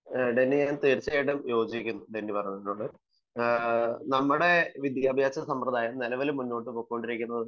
ഡെന്നിയുടെ അഭിപ്രായത്തോട് ഞാൻ യോജിക്കുന്നു നമ്മുടെ വിദ്യാഭ്യാസ സമ്പ്രദായം നിലവിൽ മുന്നോട്ടു പോയിക്കൊണ്ടിരിക്കുന്നത്